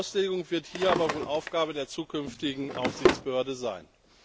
Die Auslegung wird hier aber wohl Aufgabe der zukünftigen Aufsichtsbehörde sein.